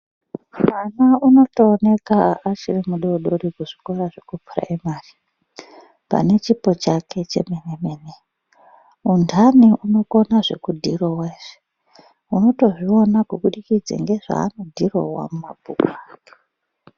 Mwana unotooneka achiri mudoodori kuzvikora zvekupuraimari pane chipo chake chemene-mene. Undani unokona zvekudhirowa izvi. Unotozviona nezvaanodhirowa mumabhuku ake.